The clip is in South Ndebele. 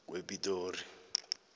kwepitori